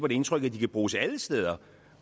et indtryk af at de kan bruges alle steder